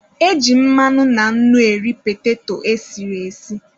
E ji mmanụ na nnu eri petato e siri esi.